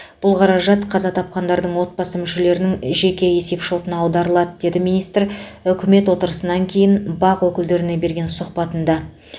бұл қаражат қаза тапқандардың отбасы мүшелерінің жеке есепшотына аударылады деді министр үкімет отырысынан кейін бақ өкілдеріне берген сұхбатында